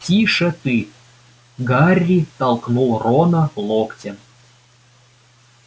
тише ты гарри толкнул рона локтем